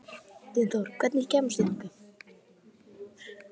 Dynþór, hvernig kemst ég þangað?